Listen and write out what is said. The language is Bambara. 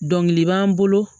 Dɔnkili b'an bolo